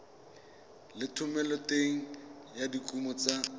le thomeloteng ya dikuno tsa